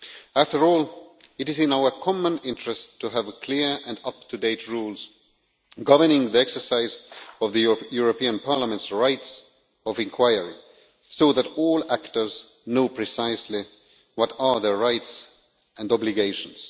After all, it is in our common interest to have clear and up to date rules governing the exercise of the European Parliament's rights of inquiry so that all actors know precisely what are their rights and obligations.